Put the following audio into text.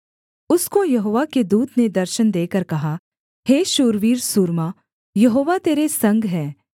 उसको यहोवा के दूत ने दर्शन देकर कहा हे शूरवीर सूरमा यहोवा तेरे संग है